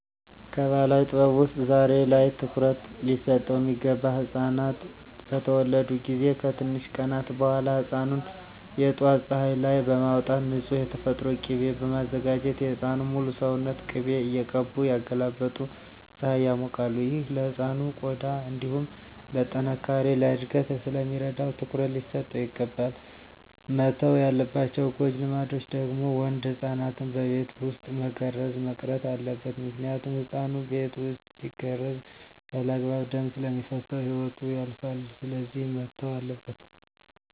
ከባህላዊ ጥበብ ውስጥ ዛሬ ላይ ትኩሩት ሊሰጠው ሚገባ ህፃናት በተወለዱ ጊዜ ከትንሽ ቀናት በኋላ ህፃኑን የጠዋት ፀሀይ ላይ በማውጣት ንፁህ የተፈጥሮ ቂቤ በማዘጋጀት የህፃኑን ሙሉ ሰውነት ቅቤ እየቀቡ እያገላበጡ ፀሀይ ያሞቃሉ። ይህ ለህፃኑ ቆዳ እንዲሁም ለጥነካሬ፣ ለእድገት ስለሚረዳው ትኩረት ሊሰጠው ይገባል። መተው ያለባቸው ጎጂ ልማዶች ደግሞ ወንድ ህፃናትን በቤት ውስጥ መገረዝ መቅረት አለበት ምክንያቱም ህፃኑ ቤት ውስጥ ሲገረዝ ያለአግባብ ደም ስለሚፈስሰው ህይወቱ ያልፋል ስለዚህ መተው አለበት።